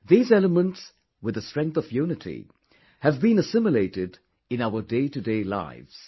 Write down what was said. These elements with the strength of unity have been assimilated in our day to day lives